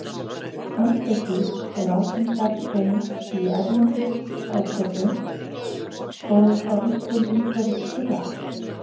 Andesít er algeng bergtegund í erlendum eldfjöllum og þá einkum umhverfis Kyrrahaf.